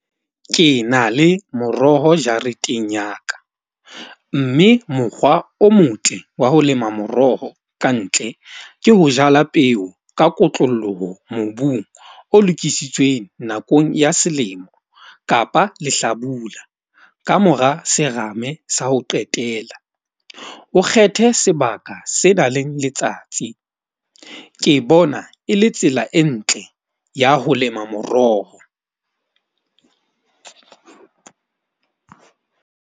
Ke na le moroho jareteng ya ka. Mme mokgwa o motle wa ho lema moroho ka ntle. Ke ho jala peo ka kotlolloho mobung o lokisitsweng nakong ya selemo kapa lehlabula. Kamora serame sa ho qetela, o kgethe sebaka se nang le letsatsi. Ke bona e le tsela e ntle ya ho lema moroho.